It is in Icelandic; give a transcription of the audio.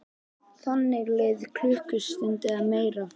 Þannig leið klukkustund eða meira.